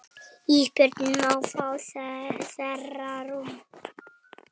Ísbjörg má fá þeirra rúm.